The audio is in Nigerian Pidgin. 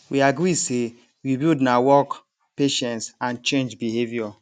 we agree say rebuild na work patience and change behavior